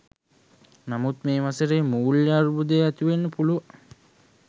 නමුත් මේ වසරේ මූල්‍ය අර්බුද ඇතිවෙන්න පුළුවන්.